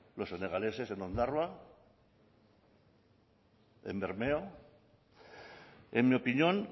los senegaleses en ondarroa en bermeo en mi opinión